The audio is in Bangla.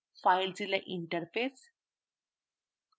filezilla interface